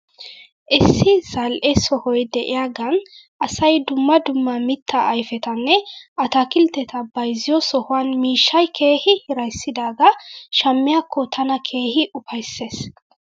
Issi zal'e sohoy de'iyaagan asay dumma dumma mitaa ayfetanne ataakiltteta bayzziyoo sohuwan mishshay keehi hiraysidaagaa shammiyaakko tana keehi ufaysses .